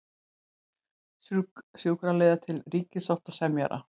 Sjúkraliðar til ríkissáttasemjara